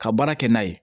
Ka baara kɛ n'a ye